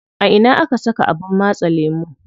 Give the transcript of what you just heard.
A ina aka saka abin matse lemu?